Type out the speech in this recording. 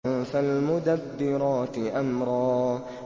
فَالْمُدَبِّرَاتِ أَمْرًا